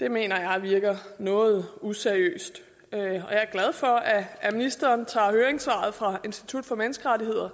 det mener jeg virker noget useriøst og jeg er glad for at ministeren tager høringssvaret fra institut for menneskerettigheder